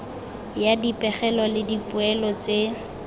ya dipegelo le dipoelo tse